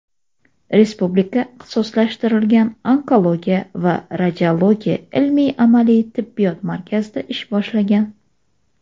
Respublika ixtisoslashtirilgan onkologiya va radiologiya ilmiy-amaliy tibbiyot markazida ish boshlagan.